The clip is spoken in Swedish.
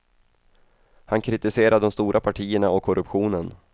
Han kritiserar de stora partierna och korruptionen.